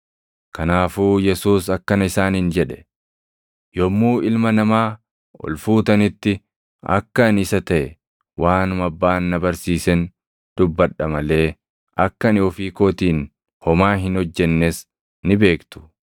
Kanaafuu Yesuus akkana isaaniin jedhe; “Yommuu Ilma Namaa ol fuutanitti akka ani isa taʼe, waanuma Abbaan na barsiisen dubbadha malee akka ani ofii kootiin homaa hin hojjennees ni beektu.